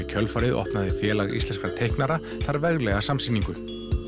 kjölfarið opnaði Félag íslenskra teiknara þar veglega samsýningu